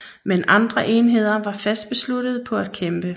Men andre enheder var fast besluttede på at kæmpe